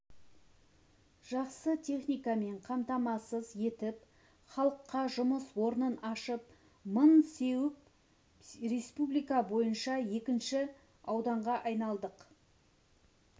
жақсы техникамен қамтамассыз етіп халыққа жұмыс орнын ашып мың сеуіп республика бойынша екінші ауданға айналдық